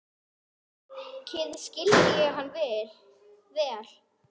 Mikið skildi ég hann vel.